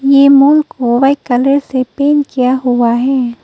यह मून को white colour से पेंट किया हुआ है।